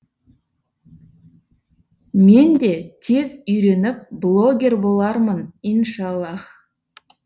мен де тез үйреніп блоггер болармын иншаллах